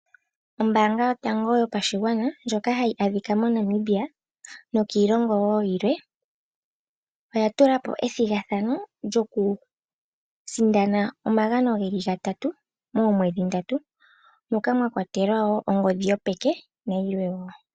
Ombaanga yotango yopashigwana ndjoka hayi adhika moNamibia nokiilongo wo yilwe, oya tula po ethigathano lyokusindana omagano ge li gatatu moomwedhi ndatu moka mwa kwatelwa wo ongodhi yopeke nayilwe wo.